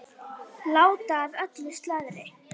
Já, að mestu leyti.